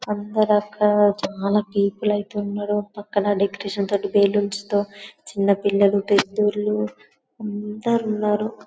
అందరూ అక్కడ చాలా పీపుల్ ఐతే ఉన్నారు ఒక పక్కన డెకొరేషన్ తోటి బెలూన్స్ తో చిన్పపిల్లలు పేదోళ్లు అందరూ ఉన్నారు.